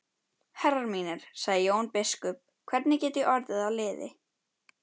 Herrar mínir, sagði Jón biskup,-hvernig get ég orðið að liði?